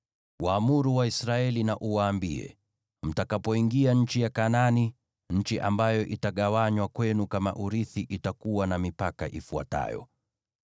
“Waamuru Waisraeli na uwaambie: ‘Mtakapoingia nchi ya Kanaani, nchi ambayo itagawanywa kwenu kama urithi itakuwa na mipaka ifuatayo: